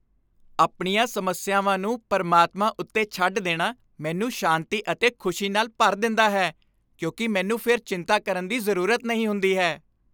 ਆਪਣੀਆਂ ਸਮੱਸਿਆਵਾਂ ਨੂੰ ਪ੍ਰਮਾਤਮਾ ਉੱਤੇ ਛੱਡ ਦੇਣਾ ਮੈਨੂੰ ਸ਼ਾਂਤੀ ਅਤੇ ਖ਼ੁਸ਼ੀ ਨਾਲ ਭਰ ਦਿੰਦਾ ਹੈ ਕਿਉਂਕਿ ਮੈਨੂੰ ਫਿਰ ਚਿੰਤਾ ਕਰਨ ਦੀ ਜ਼ਰੂਰਤ ਨਹੀਂ ਹੁੰਦੀ ਹੈ।